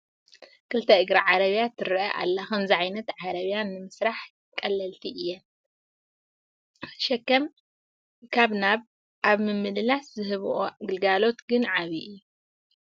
ክልተ ዝእግራ ዓረብያ ትርአ ኣላ፡፡ ከምዚ ዓይነት ዓረብያ ንምስርሐን ቀለልቲ እየን፡፡ ሸከም ካብ ናብ ኣብ ምምልላስ ዝህብኦ ግልጋሎት ግን ዓብዪ እዩ፡፡